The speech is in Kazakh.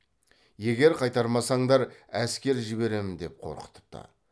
егер қайтармасаңдар әскер жіберемін деп қорқытыпты